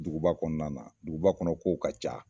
Duguba kɔnɔnana duguba kɔnɔ k'ow ka ca